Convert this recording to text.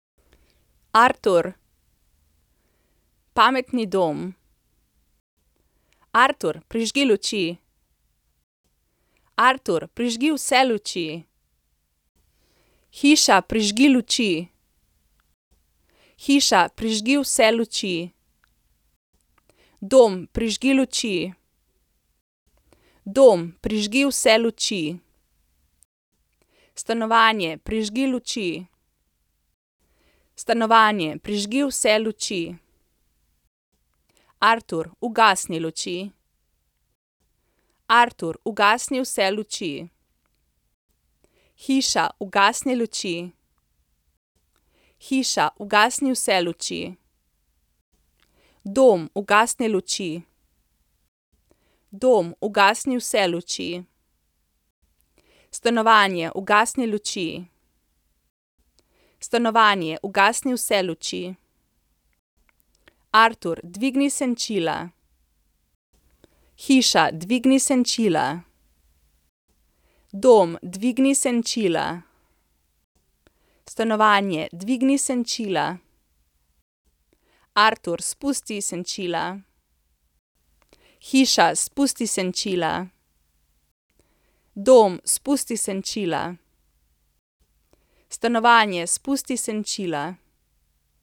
Artur. Pametni dom. Artur, prižgi luči. Artur, prižgi vse luči. Hiša, prižgi luči. Hiša, prižgi vse luči. Dom, prižgi luči. Dom, prižgi vse luči. Stanovanje, prižgi luči. Stanovanje, prižgi vse luči. Artur, ugasni luči. Artur, ugasni vse luči. Hiša, ugasni luči. Hiša, ugasni vse luči. Dom, ugasni luči. Dom, ugasni vse luči. Stanovanje, ugasni luči. Stanovanje, ugasni vse luči. Artur, dvigni senčila. Hiša, dvigni senčila. Dom, dvigni senčila. Stanovanje, dvigni senčila. Artur, spusti senčila. Hiša, spusti senčila. Dom, spusti senčila. Stanovanje, spusti senčila.